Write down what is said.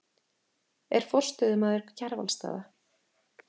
Er forstöðumaður Kjarvalsstaða.